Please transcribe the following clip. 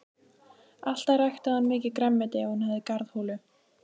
Alltaf ræktaði hún mikið grænmeti ef hún hafði garðholu.